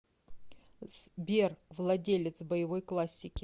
сбер владелец боевой классики